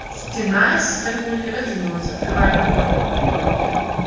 стена с гаргульей раздвинулась открывая проход